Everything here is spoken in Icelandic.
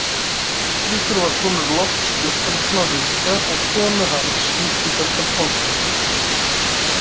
Eiríkur var sonur Lofts Guttormssonar ríka og konu hans, Ingibjargar Pálsdóttur.